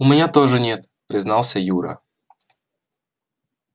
у меня тоже нет признался юра